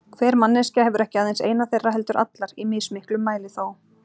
Hver manneskja hefur ekki aðeins eina þeirra heldur allar, í mismiklum mæli þó.